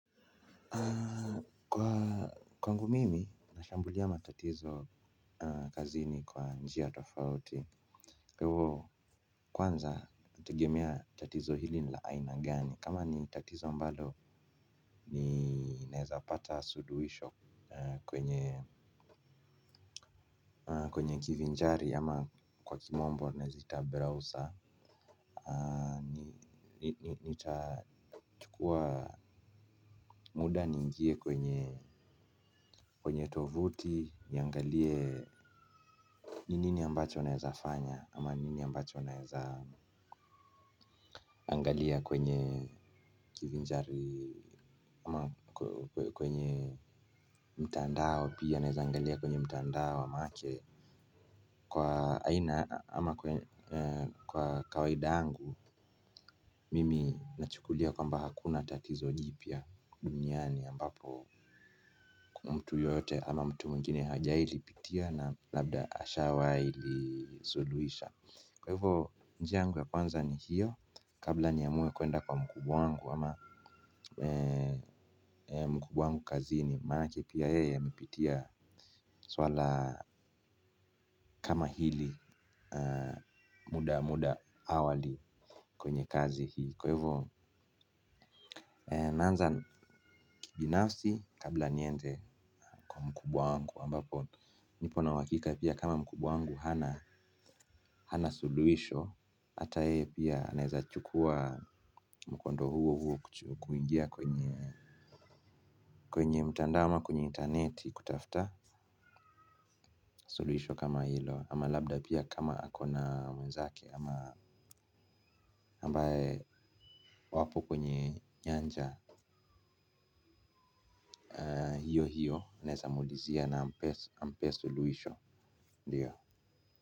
Aaa kwa kwangu mimi nashambulia matatizo kazini kwa njia tofauti hivo kwanza nategemea tatizo hili nila aina gani kama ni tatizo ambalo ni naezapata suluhisho kwenye wenye kivinjari ama wa kimombo naeza ita Broswer nitachukua muda niingie kwenye kwenye tovuti niangalie. Nini ambacho naeza fanya ama nini ambacho naeza angalia kwenye kivinjari ama kwenye mtandao pia naeza angalia kwenye mtandao maanake. Kwa aina kwa kwaida yangu mimi nachukulia kwamba hakuna tatizo jipya duniani ambapo mtu yoyote ama mtu mwingine hajai lipitia na labda ashawai lisuluhisha. Kwa hivyo njia yangu ya kwanza ni hiyo. Kabla niamue kwenda kwa mkubwa wangu ama mkubwa wangu kazini maanake pia yeye amepitia swala kama hili muda muda awali kwenye kazi hii. Kwa hivyo naanza kibinafsi kabla niende kwa mkubwa wangu ambapo nipo na uhakika pia kama mkubwa wangu hana suluhisho. Hata yeye pia anaeza chukua mkondo huo huo kuingia kwenye kwenye mtandao ama kwenye intaneti kutafta suluhisho kama hilo ama labda pia kama ako na mwenzake ama ambaye wapo kwenye nyanja. Hio hio anaeza muulizia na ampee suluhisho ndiyo.